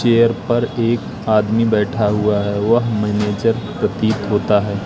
Chair पर एक आदमी बैठा हुआ है वह मैनेजर प्रतीत होता है।